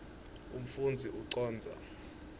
umfundzi ucondza